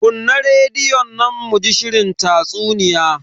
Kunna rediyon nan mu ji shirin tatsuniya.